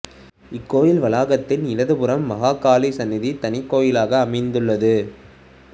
இக்கோயில் வளாகத்தின் இடது புறம் மகாகாளி சன்னதி தனிக்கோயிலாக அமைந்துள்ளது